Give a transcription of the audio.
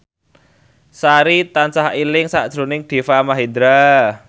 Sari tansah eling sakjroning Deva Mahendra